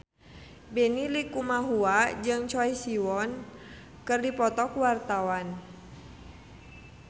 Benny Likumahua jeung Choi Siwon keur dipoto ku wartawan